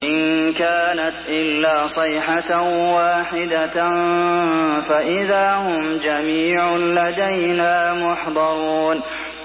إِن كَانَتْ إِلَّا صَيْحَةً وَاحِدَةً فَإِذَا هُمْ جَمِيعٌ لَّدَيْنَا مُحْضَرُونَ